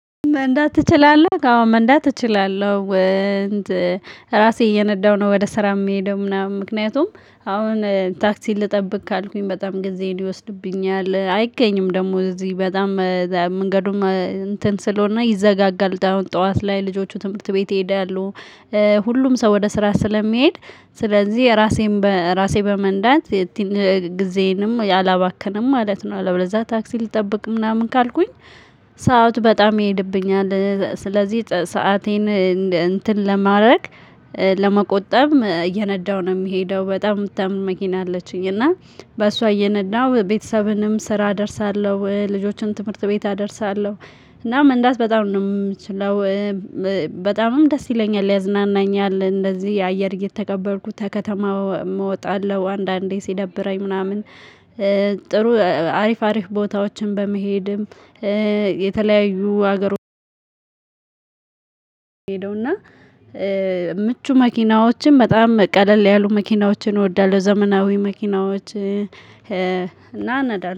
መንዳት ትችላለህ አዎ መንዳት እችላለሁ። ራሴ እየነዳሁ ነው ወደ ስራ የሚሄደው ምናምን ምክንያቱም አሁን ታክሲ ልጠብቅ ካልኩኝ በጣም ጊዜ ይወስድብኛል አይገኝም ደግሞ እዚህ በጣም መንገዱም እንትን ስለሆነ ይዘጋጋል። ጠዋት ላይ ልጆቹ ትምህርት ቤት ይሄዳሉ። ሁሉም ሰው ወደ ስራ ስለሚሄድ ስለዚህ ራሴን ራሴን በመንዳት ጊዜንም አላባከንም ማለት ነው። አለበለዛ ታክሲ ልጠብቅ ምናምን ካልኩኝ ሰዓት በጣም ይሄድብኛል። ስለዚህ ሰአቴን እንትን ለማድረግ ለመቆጠብ እየነዳሁ ነው። የሚሄደው በጣም የምታምር መኪና አለችኝ እና በሷ እየነዳሁ ቤተሰብንም ስራ እደርሳለሁ ልጆችን ትምህርት ቤት አደርሳለሁ። እና መንዳት በጣም ነው የምችለው። በጣምም ደስ ይለኛል ያዝናናኛል እንደዚህ አየር እየተቀበልኩት ከከተማ እወጣለሁ። አንዳንዴ ሲደብረኝ ምናምን አሪፍ አሪፍ ቦታዎችን በመሄድም። የተለያዩ ሀገር ሄደውና ምቹ መኪናዎችን በጣም ቀለል ያሉ መኪናዎችን እወዳለሁ። ዘመናዊ መኪናዎች እና